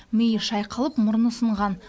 миы шайқалып мұрны сынған